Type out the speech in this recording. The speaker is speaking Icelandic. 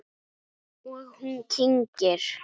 Og hún kyngir.